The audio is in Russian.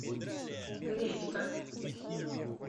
гречка